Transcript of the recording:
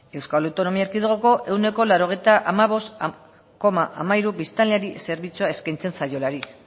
euskal autonomi erkidegoko ehuneko laurogeita hamabost koma hamairu biztanleri zerbitzua eskaintzen zaiolarik